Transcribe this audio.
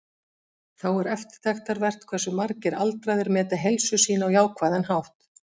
Þá er eftirtektarvert hversu margir aldraðir meta heilsu sína á jákvæðan hátt.